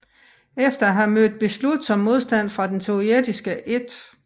Efter at have mødt beslutsom modstand fra den sovjetiske 1